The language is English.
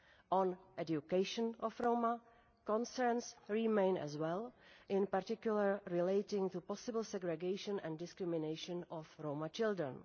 On the education of Roma, concerns remain as well, in particular relating to possible segregation and discrimination of Roma children.